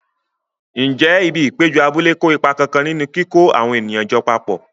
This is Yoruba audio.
Ǹjẹ́ ibi ìpéjọ abúlé kó ipa kan nínú kíkó àwọn ènìyàn jọ papọ̀?